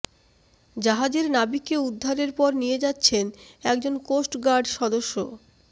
জাহাজের নাবিককে উদ্ধারের পর নিয়ে যাচ্ছেন একজন কোস্টগার্ড সদস্য